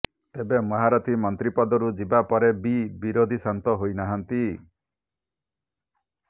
ତେବେ ମହାରଥୀ ମନ୍ତ୍ରୀ ପଦରୁ ଯିବା ପରେ ବି ବିରୋଧୀ ଶାନ୍ତ ହୋଇନାହାନ୍ତି